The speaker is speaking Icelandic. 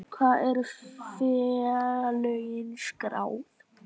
Hvar eru félögin skráð?